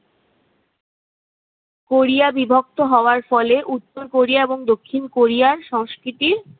Korea বিভক্ত হওয়ার ফলে উত্তর কোরিয়া এবং দক্ষিণ কোরিয়ার সংস্কৃতির